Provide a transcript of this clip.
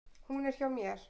Hún er hjá mér.